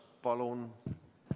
Palun!